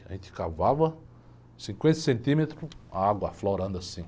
A gente cavava cinquenta centímetros, água aflorando assim.